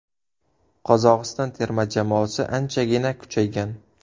Qozog‘iston terma jamoasi anchagina kuchaygan.